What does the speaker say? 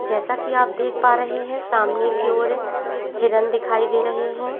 जैसा की आप देख पा रहे है सामने की ओर हिरण दिखाई दे रही है।